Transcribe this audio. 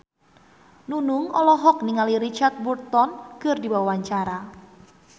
Nunung olohok ningali Richard Burton keur diwawancara